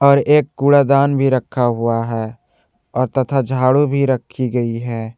और एक कूड़ा दान भी रखा हुआ है और तथा झाड़ू भी रखी गई है।